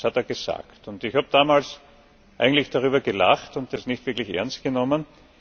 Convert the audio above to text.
Das hat er gesagt. Ich habe damals eigentlich darüber gelacht und es nicht wirklich ernst genommen.